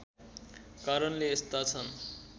कारणले यस्ता छन्